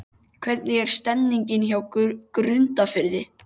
Hvernig er stemningin hjá Grundarfirði?